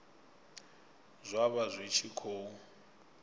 zwa vha zwi tshi khou